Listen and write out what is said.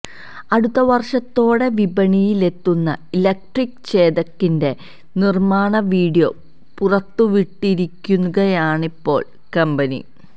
അടുത്ത വര്ഷത്തോടെ വിപണിയിലെത്തുന്ന ഇലക്ട്രിക് ചേതക്കിന്റെ നിര്മാണ വീഡിയോ പുറത്തുവിട്ടിരിക്കുകയാണിപ്പോള് കമ്പനി